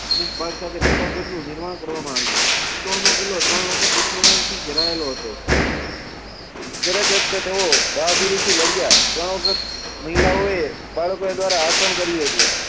અમુક ભાગ સાથે પ્રતાપગંજનું નિર્માણ કરવામાં આવ્યું. ચિત્તોડનો કિલ્લો ત્રણ વખત દુશ્મનોથી ઘેરાયેલો હતો. દરેક વખતે તેઓ બહાદુરીથી લડ્યા. ત્રણ વખત મહિલાઓએ બાળકો દ્વારા આચરણ કર્યું હતું.